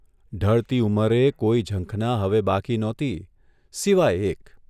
ઢળતી ઉંમરે કોઇ ઝંખના હવે બાકી નહોતી સિવાય એક !